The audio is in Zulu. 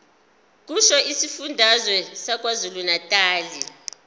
kusho isifundazwe sakwazulunatali